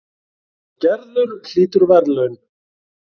Og Gerður hlýtur verðlaun.